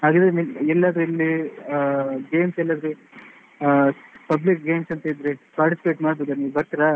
ಹಾಗಾದ್ರೆ ಎಲ್ಲಿ ಆದ್ರು ಇಲ್ಲಿ ಅಹ್ games ಎಲ್ಲಿಯಾದ್ರೂ ಅಹ್ public games ಅಂತ ಇದ್ರೆ participate ಮಾಡ್ಬೋದು ನೀವು ಬರ್ತೀರಾ?